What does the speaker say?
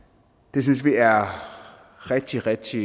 det synes vi er rigtig rigtig